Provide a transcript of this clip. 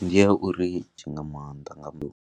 Ndi ya uri .